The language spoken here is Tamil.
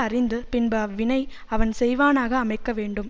அறிந்து பின்பு அவ்வினை அவன் செய்வானாக அமைக்க வேண்டும்